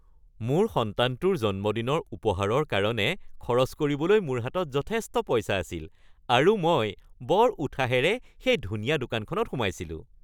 মোৰ সন্তানটোৰ জন্মদিনৰ উপহাৰৰ কাৰণে খৰচ কৰিবলৈ মোৰ হাতত যথেষ্ট পইচা আছিল আৰু মই বৰ উৎসাহেৰে সেই ধুনীয়া দোকানখনত সোমাইছিলোঁ।